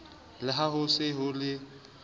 le ha ho se ho